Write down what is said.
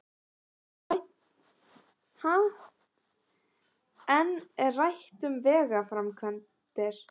Enn er rætt um vegaframkvæmdir